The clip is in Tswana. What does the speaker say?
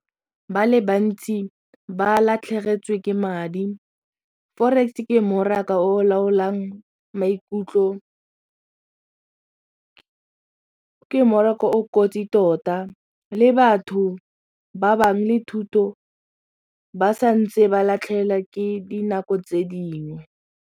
Ba le bantsi ba latlhegetswe ke madi forex-e ke mmaraka o laolang maikutlo ke mmaraka o kotsi tota le batho ba bangwe le thuto ba sa ntse ba ke dinako tse dingwe.